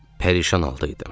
Pərişan halda idim.